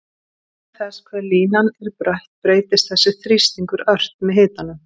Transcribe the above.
Vegna þess hve línan er brött breytist þessi þrýstingur ört með hitanum.